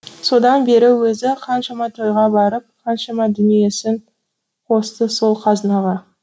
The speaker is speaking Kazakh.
содан бері өзі қаншама тойға барып қаншама дүниесін қосты сол қазынаға